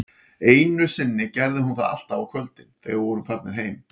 Einu sinni gerði hún það alltaf á kvöldin, þegar við vorum farnir heim